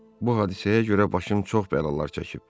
Bu hadisəyə görə başım çox bəlalar çəkib.